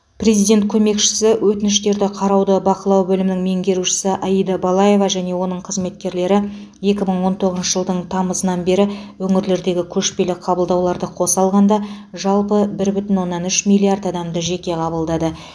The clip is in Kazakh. президент көмекшісі өтініштерді қарауды бақылау бөлімінің меңгерушісі аида балаева және оның қызметкерлері екі мың он тоғызыншы жылдың тамызынан бері өңірлердегі көшпелі қабылдауларды қоса алғанда жалпы бір бүтін оннан үш миллиард адамды жеке қабылдады